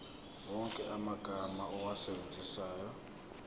wonke amagama owasebenzisayo